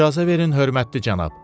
İcazə verin hörmətli cənab.